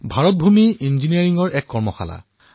ভাৰতৰ ভূমি ইঞ্জিনীয়াৰিঙৰ প্ৰয়োগশালা